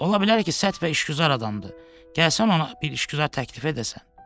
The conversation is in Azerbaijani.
Ola bilər ki, sərt və işgüzar adamdır, gəlsən ona bir işgüzar təklif edəsən.